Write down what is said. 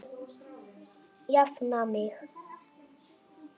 Jafna mig!